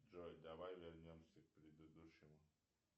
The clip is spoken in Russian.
джой давай вернемся к предыдущему